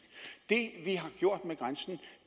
det vi har gjort med grænsen